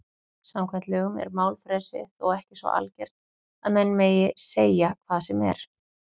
Samkvæmt lögum er málfrelsi þó ekki svo algert að menn megi segja hvað sem er.